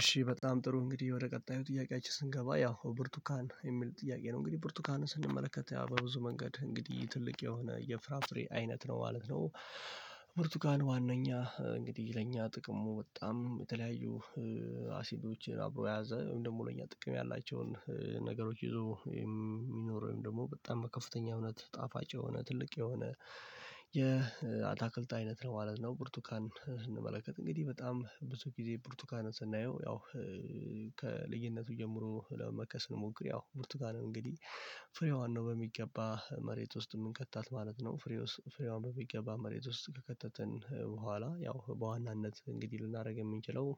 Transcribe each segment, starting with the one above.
እሺ በጣም ጥሩ እንግዲህ ወደ ቀጣዩ ጥያቄያችን ስንገባ ያው ብርቱካን የሚል ጥያቄ ነው እንግዲህ ብርቱካንን ስንመለከት በብዙ መንገድ እንግዲህ ትልቅ የሆነ የፍራፍሬ አይነት ነው ማለት ነው። ምርቱካን ዋናኛ እንግዲህ ለእኛ ጥቅሙ በጣም የተለያዩ አሲዶችን አብሮ የያዘ ደግሞ ለኛ ጥቅም ያላቸውን ነገሮች ይዞ የሚኖረው ወይም ደግሞ በጣም በከፍተኛ እውነት ጣፋጭ የሆነ ትልቅ የሆነ አይነት ነው ማለት ነው። ብርቱካን ስንመለከት እንግዲህ በጣም ብዙ ጊዜ ብርቱካንን ስናየው ያው ከልዩነቱ ጀምሮ ለመጥቀስ ስንሞክር ያው ብርቱካንን እንግዲህ ፍሬዋን ነው በሚገባ መሬት ውስጥ እምንከታት ማለት ነው። ፍሬን በሚገባ መሬት ውስጥ ከከተትን በኋላ ያው በዋናነት እንግዲህ ልናደርግ የምንችለው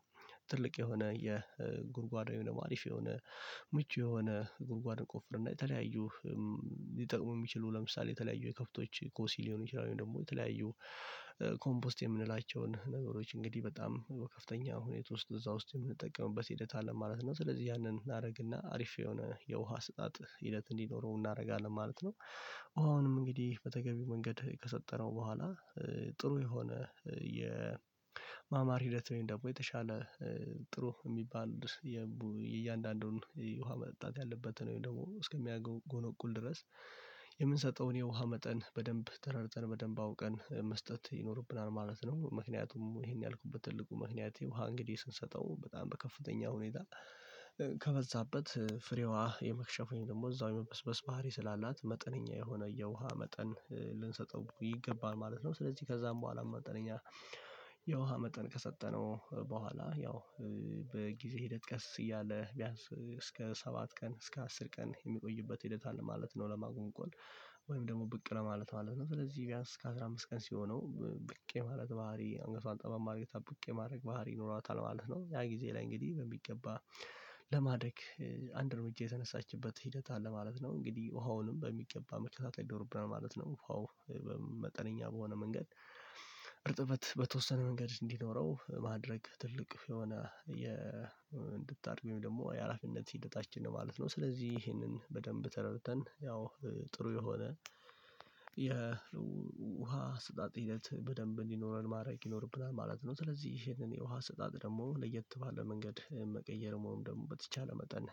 ትልቅ የሆነ የጉድጓድ የሆነ ሀሪፍ የሆነ ምቹ የሆነ ጉድጓድ እንቆፍር እና የተለያዩ ሊጠቅሙ እሚችሉ ለምሳሌ የተለያዩ የከብቶች ኩስ ሊሆኑ ይችላሉ። ወይም ደግሞ የተለያዩ ኮምፖስት የምንላቸውን ነገሮች እንግዲህ በጣም ከፍተኛ ሁኔታ ውስጥ እዛ ውስጥ የምንጠቀምበት ሂደት አለ ማለት ነው ስለዚህ ያንን እናደርግና አሪፍ የሆነ የውሃ አሰጣጥ ሂደት እንዲኖረው እናደርጋለን ማለት ነው። ውሃውንም እንግዲህ በተገቢው መንገድ ከሰጠነው በኋላ ጥሩ የሆነ የማማር ሂደት ወይም ደግሞ የተሻለ ጥሩ እሚባል የእያንዳንዱን ውሃ መጠጣት ያለበትን ወይም ደግሞ እስከሚያጎሎቁል ድረስ የምንሰጠውን የውሃ መጠን በደንብ ተረድተን በደንብ አውቀን መስጠት ይኖርብናል ማለት ነው። ምክንያቱም ይሄን ያልኩበት ትልቁ ምክንያት የውሃ እንግዲህ ስንሰጠው በጣም በከፍተኛ ሁኔታ ከበዛበት ፍሬዋ የመክሸፍ ወይም ደግሞ እዛው የመበስበስ ባህሪ ስላላት መጠነኛ የሆነ የውሃ መጠን ልንሰጠው ይገባል ማለት ነው። ስለዚህ ከዛም በኋላ መጠነኛ የውሃ መጠን ከሰጠነው በኋላ ያው በጊዜ ሂደት ቀስ እያለ ቢያንስ እስከ ሰባት ቀን እስከ አስር ቀን የሚቆይበት ሂደት አለ ማለት ነው። ለማጎሎጎን ወይም ደግሞ ብቅ ለማለት ማለት ነው ስለዚህ ቢያንስ ከ15 ቀን ሲሆነው ብቅ የማለት ባህሪ አንገቷን ጠመም አድርጋ ብቅ የማለት ባህሪ ይኖሯታል ማለት ነው። ያ ጊዜ ላይ እንግዲህ በሚገባ ለማደግ አንድ እርምጃ የተነሳችበት ሂደት አለ ማለት ነው። እንግዲህ ውሃውንም በሚገባ መከታተል ይኖርብናል ማለት ነው ውሃው በሆነ መንገድ እርጥበት በተወሰነ መንገድ እንዲኖረው ማድረግ ትልቅ የሆነ እንድታድግ ወይም ደግሞ የሀላፊነት ሂደታችን ነው ማለት ነው። ስለዚህ ይሄንን በደንብ ተረድተን ያው ጥሩ የሆነ የውሃ አሰጣጥ ሂደት በደንብ እንዲኖረን ማድረግ ይኖርብናል ማለት ነው። ስለዚህ ይሄንን የውሃ ስጣት ደግሞ ለየት ባለ መንገድ መቀየርም ወይም ደግሞ በተቻለ መጠን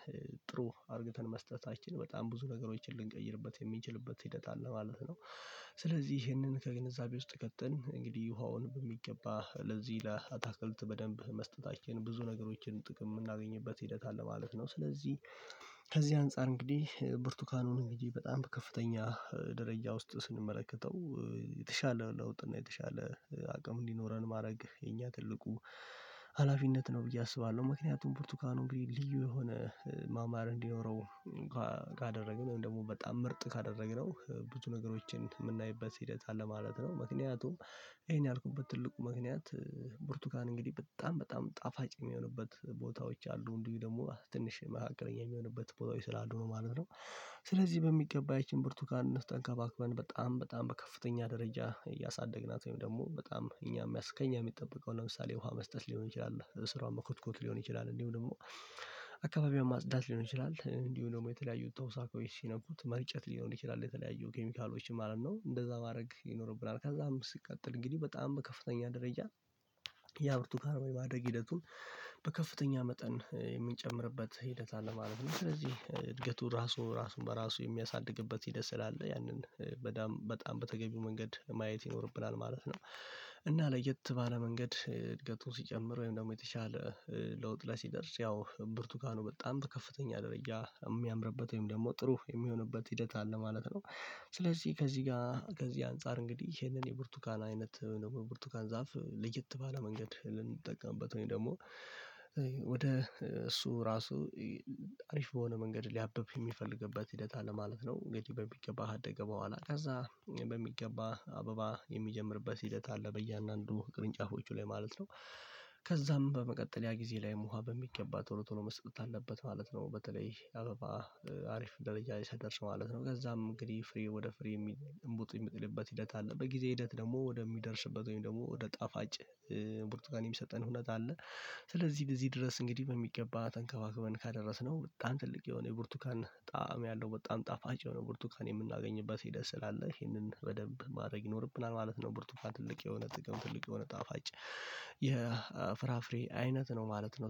ጥሩ አድርገን መስጠታችን በጣም ብዙ ነገሮችን ልንቀይርበት የሚችልበት ሂደት አለ ማለት ነው። ስለዚህ ይህንን ከግንዛቤ ውስጥ ከተን እንግዲህ ውሃውን በሚገባ ለዚህ ለአታክልት በደንብ መስጠታችን ብዙ ነገሮችን ጥቅም የምናገኝበት ሂደት አለ ማለት ነው። ስለዚህ ከዚህ አንፃር እንግዲህ ብርቱካኑን እንግዲህ በጣም ከፍተኛ ደረጃ ውስጥ ስንመለከተው የተሻለ ለውጥ እና የተሻለ አቅም እንዲኖረን ማድረግ የኛ ትልቁ ሀላፊነት ነው ብዬ አስባለሁ። ምክንያቱም ብርቱካኑ እንግዲህ ልዩ የሆነ ማማር እንዲኖረው ካደረግን ወይም ደግሞ በጣም ምርጥ ካደረግነው ብዙ ነገሮችን እምናይበት ሂደት አለ ማለት ነው። ምክንያቱም ይሄን ያልኩበት ትልቁ ምክንያት ብርቱካን እንግዲህ በጣም በጣም ጣፋጭ እሚሆንበት ቦታዎች አሉ እንዲሁ ደግሞ ትንሽ መካከለኛ የሚሆንበት ቦታዎች ስላሉ ነው ማለት ነው። ስለዚህ በሚገባ ያቺን ብርቱካን ተንከባክበን በጣም በጣም በከፍተኛ ደረጃ እያሳደግናት ወይም ደግሞ በጣም እኛም ከእኛ የሚጠበቀው ለምሳሌ ውሃ መስጠት ሊሆን ይችላል ስሯን መኮትኮት ሊሆን ይችላል እንዲሁ ደግሞ አካባቢውን ማጽዳት ሊሆን ይችላል እንዲሁ ደግሞ የተለያዩ ተውሳኮች ሲነኩት መርጨት ሊሆን ይችላል የተለያዩ ኬሚካሎች ማለት ነው እንደዛ ማድረግ ይኖርብናል። ከዛም ሲቀጥል እንግዲህ በጣም በከፍተኛ ደረጃ ያ ብርቱካን የማደግ ሂደቱን መጠን የምንጨምርበት ሂደት አለ ማለት ነው። ስለዚህ እድገቱ ራሱ ራሱን በራሱ የሚያሳድግበት ሂደት ስለአለ ያንን በጣም በጣም በተገቢው መንገድ ማየት ይኖርብናል ማለት ነው። እና በተለየ መንገድ እድገቱን ሲጨምር ወይም ደግሞ የተሻለ ለውጥ ላይ ሲደርስ ያው ብርቱካኑ በጣም ከፍተኛ ደረጃ እሚያምርበት ወይም ደግሞ ጥሩ እሚሆንበት ሂደት አለ ማለት ነው። ስለዚህ ከዚህ ጋር ከዚህ አንፃር እንግዲህ ይሄንን የብርቱካን አይነት ወይም ደግሞ የብርቱካን ዛፍ ለየት ባለ መንገድ ልንጠቀምበት ወይም ደግሞ ወደ እሱ ራሱ አሪፍ በሆነ መንገድ ሊያበብ የሚፈልግበት ሂደት አለ ማለት ነው። እንግዲህ በሚገባህ ከአደገ በኋላ ከዛ በሚገባህ አበባ የሚጀምርበት ሂደት አለ በእያንዳንዱ ቅርንጫፎቹ ላይ ማለት ነው። ከዛም በመቀጠል ያ ጊዜ ላይ ውሃ በሚገባ ቶሎ ቶሎ መስጠት አለበት ማለት ነው። በተለይ አበባ አሪፍ ደረጃ ሲደርስ ማለት ነው። ከዛም እንግዲህ ፍሬ ወደ ፍሬ የሚል እምቡጥ የሚጥልበት ሂደት አለ በጊዜ ሂደት ደግሞ ወደሚደርስበት ወይም ደግሞ ወደ ጣፋጭ ብርቱካን የሚሰጠን ሁኔታ አለ። ስለዚህ በዚህ ድረስ እንግዲህ በሚገባ ተንከባክበን ካደረስነው በጣም ትልቅ የሆነ የቡርቱካን ጣዕም ያለው በጣም ጣፋጭ የሆነ ብርቱካን የምናገኝበት ሂደት ስላለ ይሄንን በደንብ ማድረግ ይኖርብናል ማለት ነው። ብርቱፋን ትልቅ የሆነ ጥቅም ትልቅ የሆነ ጣፋጭ የፍራፍሬ አይነት ነው ማለት ነው